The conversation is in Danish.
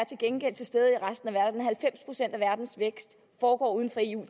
til gengæld til stede i resten af verdens vækst foregår uden for eu og